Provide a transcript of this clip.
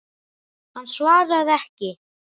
Hann svaraði ekki.